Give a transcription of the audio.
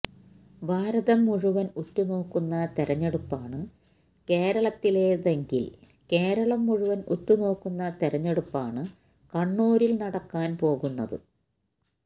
ഭാരതം മുഴുവന് ഉറ്റുനോക്കുന്ന തെരഞ്ഞെടുപ്പാണ് കേരളത്തിലേതെങ്കില് കേരളം മുഴുവന് ഉറ്റുനോക്കുന്ന തെരഞ്ഞെടുപ്പാണ് കണ്ണൂരില് നടക്കാന് പോകുന്നത്